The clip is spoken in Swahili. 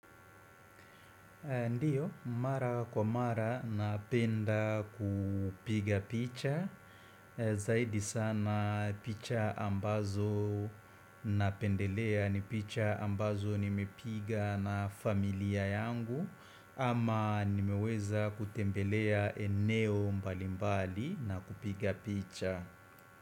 Ndiyo, mara kwa mara napenda kupiga picha Zaidi sana picha ambazo napendelea ni picha ambazo nimepiga na familia yangu ama nimeweza kutembelea eneo mbalimbali na kupiga picha.